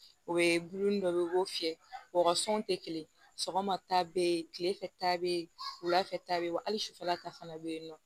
O ye bulon ni dɔ ye u b'o fiyɛ wasɔn te kelen sɔgɔma ta be yen kile fɛ ta be yen wulafɛ ta be yen wa ali sufɛla ta fana be yen nɔ